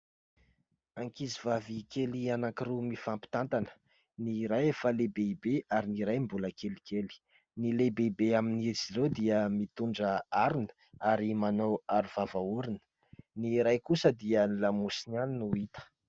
Ankizivavy kely anankiroa mifampitantana ; ny iray efa lehibebe ary ny iray mbola kelikely. Ny lehibebe amin'izy ireo dia mitondra harona ary manao arovava orona, ny iray kosa dia ny lamosiny ihany no hita.